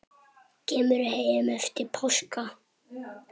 Kemur heim eftir páska.